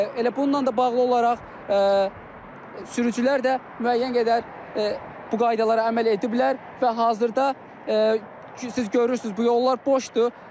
Elə bununla da bağlı olaraq sürücülər də müəyyən qədər bu qaydalara əməl ediblər və hazırda siz görürsüz bu yollar boşdur.